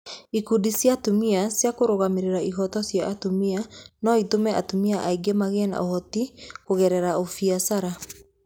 Ikundi cia atumia cia kũrũgamĩrĩra ihooto cia atumia no itũme atumia aingĩ magĩe na ũhoti kũgerera ũbiacara